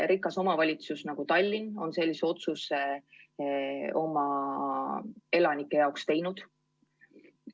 Rikas omavalitsus nagu Tallinn on sellise otsuse oma elanike huvides teinud.